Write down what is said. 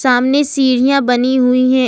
सामने सीढ़ियां बनी हुई है।